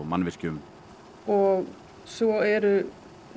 mannvirkjum og svo er